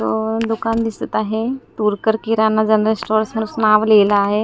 दोन दुकान दिसत आहे तोरकर किराणा जनरल स्टोअर्स नांव लिहिलं आहे.